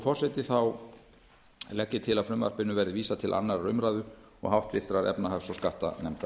forseti legg ég til að frumvarpinu verði vísað til annarrar umræðu og háttvirtrar efnahags og skattanefndar